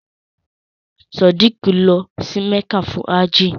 Sádíkù lọ sí Mẹ́kà fún áàjì.